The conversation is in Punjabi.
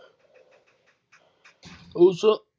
ਉਸ